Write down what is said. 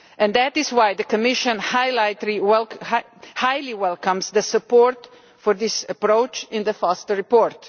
That is why the Commission greatly welcomes the support for this approach in the Foster report.